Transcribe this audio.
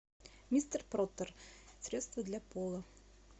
мистер пропер средство для пола